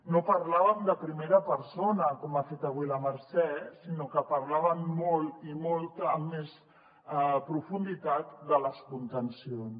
no parlàvem de primera persona com ha fet avui la mercè sinó que parlàvem molt i amb més profunditat de les contencions